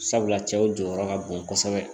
Sabula cɛw jɔyɔrɔ ka bon kosɛbɛ